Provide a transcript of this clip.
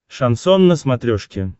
шансон на смотрешке